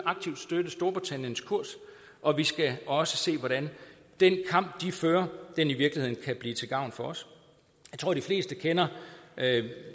storbritanniens kurs og vi skal også se hvordan den kamp de fører i virkeligheden kan blive til gavn for os jeg tror de fleste kender